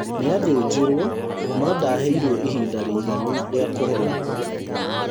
Nĩathĩnjirwo no ndaheirwo ihinda rĩiganu rĩa kũhona